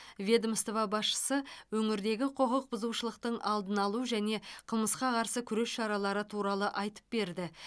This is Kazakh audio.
ведомство басшысы өңірдегі құқық бұзушылықтың алдын алу және қылмысқа қарсы күрес шаралары туралы айтып берді